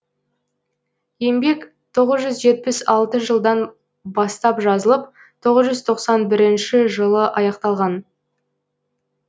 еңбек тоғыз жүз жетпіс алты жылдан бастап жазылып тоғыз жүз тоқсан бірінші жылы аяқталған